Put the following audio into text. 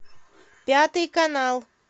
пятый канал